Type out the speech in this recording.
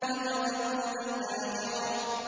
وَتَذَرُونَ الْآخِرَةَ